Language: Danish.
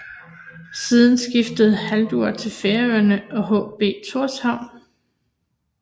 Siden skiftede Hallur til Færøerne og HB Tórshavn